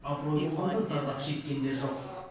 абырой болғанда зардап шеккендер жоқ